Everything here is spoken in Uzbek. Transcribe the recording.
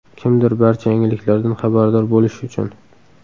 Kimdir barcha yangiliklardan xabardor bo‘lish uchun.